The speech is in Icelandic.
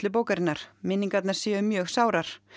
bókarinnar minningarnar séu mjög sárar